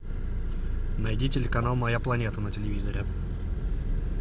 найди телеканал моя планета на телевизоре